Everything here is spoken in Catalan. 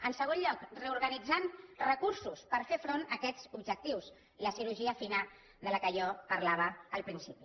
en segon lloc reorganitzant recursos per fer front a aquests objectius la cirurgia fina de què jo parlava al principi